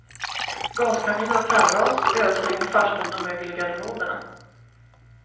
Gaskaminer och kallras, ösregn i farstun och mögel i garderoberna.